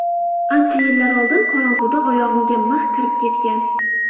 Ancha yillar oldin qorong‘uda oyog‘imga mix kirib ketgan.